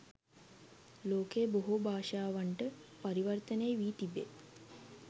ලෝකයේ බොහෝ භාෂාවන්ට පරිවර්තනය වී තිබේ.